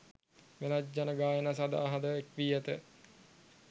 වෙනත් ජන ගායනා සඳහාද එක් වී ඇත.